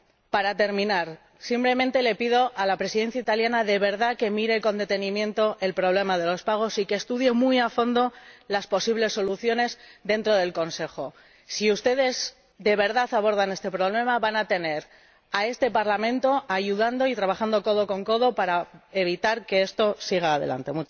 Para terminar, simplemente le pido a la Presidencia italiana, de verdad, que mire con detenimiento el problema de los pagos y que estudie muy a fondo las posibles soluciones dentro del Consejo. Si ustedes de verdad abordan este problema, van a tener a este Parlamento ayudando y trabajando codo con codo para evitar que esto siga adelante.